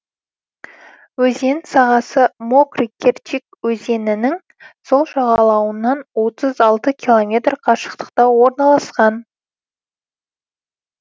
өзен сағасы мокрый керчик өзенінің сол жағалауынан отыз алты километр қашықтықта орналасқан